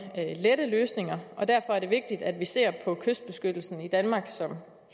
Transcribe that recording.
lette løsninger og derfor er det vigtigt at vi ser på kystbeskyttelsen i danmark som